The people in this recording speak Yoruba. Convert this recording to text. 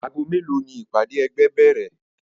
Ago melo ni ìpàdé ẹgbẹ́ bèrè?